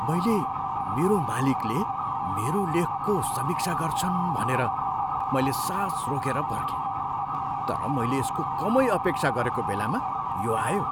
मैले मेरो मालिकले मेरो लेखको समीक्षा गर्छन् भनेर मैले सास रोकेर पर्खेँ, तर मैले यसको कमै अपेक्षा गरेको बेलामा यो आयो।